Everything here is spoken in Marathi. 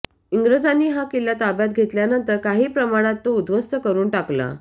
इंग्रजानी हा किल्ला ताब्यात घेतल्यानंतर काही प्रमाणात तो उद्ध्वस्त करून टाकला